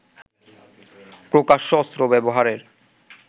প্রকাশ্যে অস্ত্র ব্যবহারের